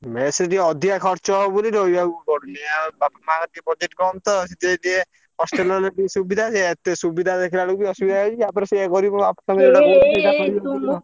Mess ରେ ଟିକେ ଅଧିକା ଖର୍ଚ ହବ ବୋଲି ରହିଆକୁ ପଡ଼ୁନି ଆଉ ତଥାପି budget କମ୍ ତ ସେଥିପାଇଁ ଟିକେ hostel ରେ ରହିଲେ ଟିକେ ସୁବିଧା ସେୟା ଏତେ ସୁବିଧା ଦେଖିଲା ବେଳକୁ ଅସୁବିଧା ହେଇଯାଉଛି। ତାପରେ ସେୟା ଗରିବ